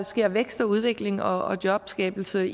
sker en vækst og udvikling og jobskabelse